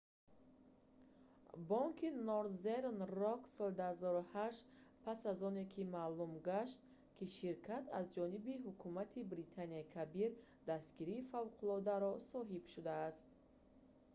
бонки норзерн рок соли 2008 пас аз оне ки маълум гашт ки ширкат аз ҷониби ҳукумати британияи кабир дастгирии фавқуллодаро соҳиб шудааст